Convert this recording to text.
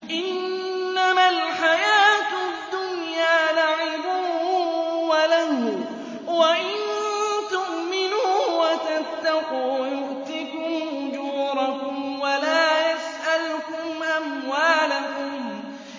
إِنَّمَا الْحَيَاةُ الدُّنْيَا لَعِبٌ وَلَهْوٌ ۚ وَإِن تُؤْمِنُوا وَتَتَّقُوا يُؤْتِكُمْ أُجُورَكُمْ وَلَا يَسْأَلْكُمْ أَمْوَالَكُمْ